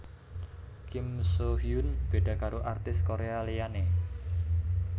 Kim Soo Hyun beda karo artis Korea liyane